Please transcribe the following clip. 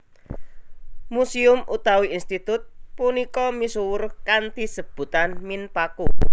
Museum utawi institut punika misuwur kanthi sebutan Minpaku